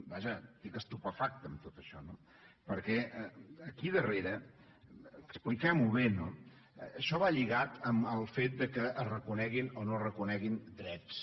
vaja estic estupefacte amb tot això no perquè aquí darrere expliquem ho bé això va lligat al fet que es reconeguin o no es reconeguin drets